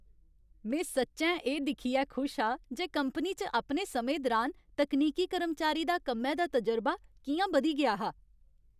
में सच्चैं एह् दिक्खियै खुश हा जे कंपनी च अपने समें दरान तकनीकी कर्मचारी दा कम्मै दा तजुर्बा कि'यां बधी गेआ हा।